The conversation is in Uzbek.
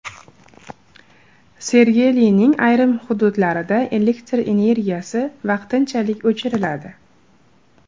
Sergelining ayrim hududlarida elektr energiyasi vaqtincha o‘chiriladi.